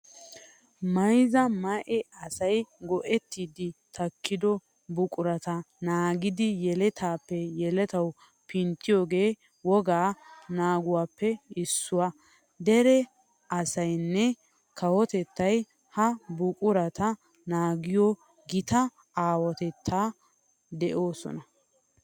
Mayzza ma"e asay go"ettiiddi takkido buqurata naagidi yeletaappe yeletawu pinttiyogee wogaa naaguwappe issuwa. Dere asaynne kawotettay ha buqurata naagiyo gita aawatettaara de'oosona.